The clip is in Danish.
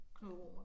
Knud Romer